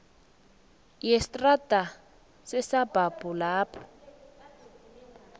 yestrada yesabhabhu lapho